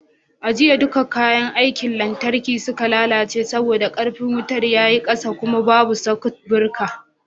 A jiya dukkan kayan aikin lantarki suka lalace saboda ƙarfin wuta ya yi ƙasa kuma babu sakut bireka